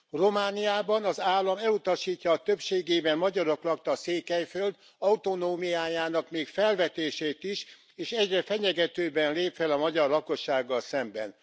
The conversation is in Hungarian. Romániában az állam elutasítja a többségében magyarok lakta Székelyföld autonómiájának még a felvetését is, és egyre fenyegetőbben lép fel a magyar lakossággal szemben.